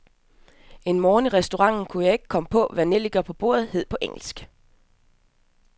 En morgen i restauranten kunne jeg ikke komme på, hvad nellikerne på bordet hed på engelsk.